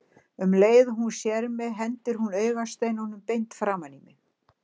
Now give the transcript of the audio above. Um leið og hún sér mig hendir hún augasteinunum beint framan í mig.